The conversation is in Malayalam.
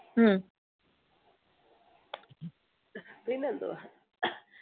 പിന്നെന്തുവാ